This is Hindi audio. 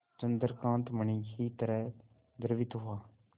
चंद्रकांत मणि ही तरह द्रवित हुआ